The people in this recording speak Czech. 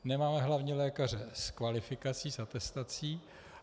Nemáme hlavně lékaře s kvalifikací, s atestací.